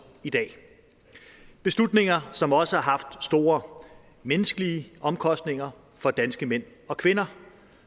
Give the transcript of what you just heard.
i dag beslutninger som også har haft store menneskelige omkostninger for danske mænd og kvinder